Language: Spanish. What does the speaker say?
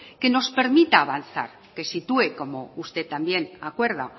que nos permita avanzar que sitúe como usted también acuerda